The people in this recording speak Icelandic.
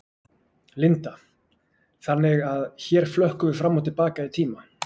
Linda: Þannig að hér flökkum við fram og til baka í tíma?